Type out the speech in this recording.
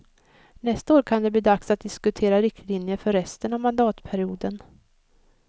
Nästa år kan det bli dags att diskutera riktlinjer för resten av mandatperioden.